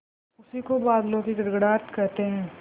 उसी को बादलों की गड़गड़ाहट कहते हैं